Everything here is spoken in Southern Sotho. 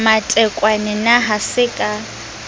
matekwane na ha se ka